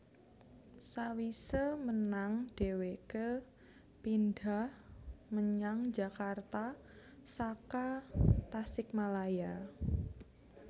Sawise menang dheweke pindhah menyang Jakarta saka Tasikmalaya